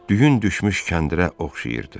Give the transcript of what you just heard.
Düyün düşmüş kəndirə oxşayırdı.